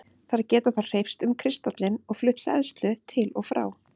Þær geta þá hreyfst um kristallinn og flutt hleðslu til og frá.